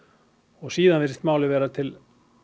og síðan virðist málið vera til